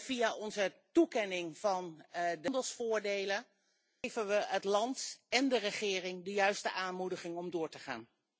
Via de toekenning van handelsvoordelen geven we het land en de regering de juiste aanmoediging om door te gaan.